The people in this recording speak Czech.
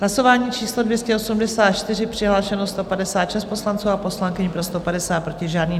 Hlasování číslo 284, přihlášeno 156 poslanců a poslankyň, pro 150, proti žádný.